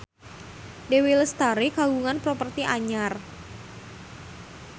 Dewi Lestari kagungan properti anyar